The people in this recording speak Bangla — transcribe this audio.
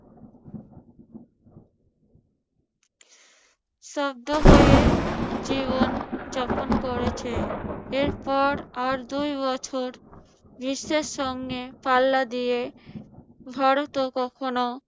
স্তব্ধ হয়ে জীবন যখন করেছে। এরপর আর দুই বছর বিশ্বের সঙ্গে পাল্লা দিয়ে ভারতও কখনো